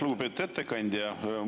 Lugupeetud ettekandja!